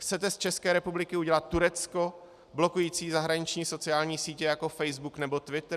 Chcete z České republiky udělat Turecko blokující zahraniční sociální sítě jako Facebook nebo Twitter?